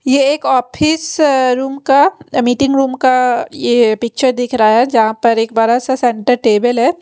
ये एक office room का मीटिंग रूम का ये पिक्चर दिख रहा है जहां पर एक बड़ा सा सेंटर टेबल है।